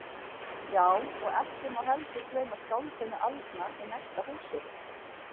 Já, og ekki má heldur gleyma skáldinu aldna í næsta húsi.